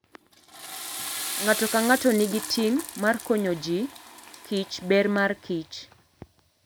Ng'ato ka ng'ato nigi ting ' mar konyo ji kich ber mar Kich.